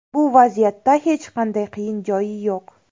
Bu vaziyatda hech qanday qiyin joyi yo‘q.